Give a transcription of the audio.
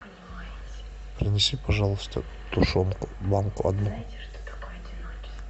принеси пожалуйста тушенку банку одну